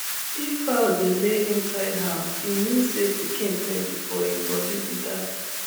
if fowl dey lay inside house e mean say pikin plenty for hin body be dat